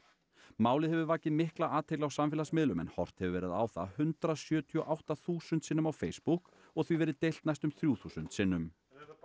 málið hefur vakið mikla athygli á samfélagsmiðlum en horft hefur verið á það hundrað sjötíu og átta þúsund sinnum á Facebook og því verið deilt næstum þrjú þúsund sinnum